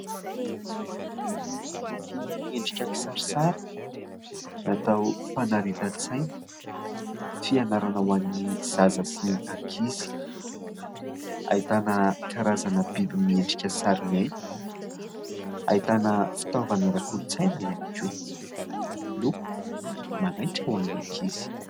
Boky miendriky sariary natao fanaritan-tsaina fianarana ho an'ny zaza sy ny ankizy ahitana karazana biby miendrika sary miaina, ahitana fitaovana ara kolontsaina ihany koa, loko ! manaitra ho an'ny ankizy.